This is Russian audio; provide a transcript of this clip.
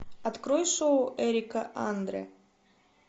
открой шоу эрика андре